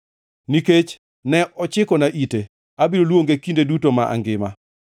Nikech ne ochikona ite, abiro luonge kinde duto ma angima.